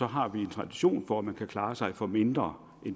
har vi en tradition for at man kan klare sig for mindre